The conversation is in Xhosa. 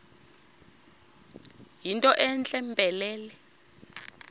yinto entle mpelele